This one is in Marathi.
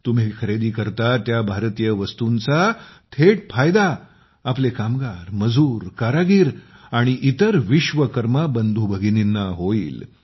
तुम्ही खरेदी करता त्या भारतीय वस्तूंचा थेट फायदा आमचे कामगार मजूर कारागीर आणि इतर विश्वकर्मा बंधूभगिनींना होईल